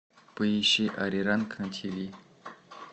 поищи ариранг на тиви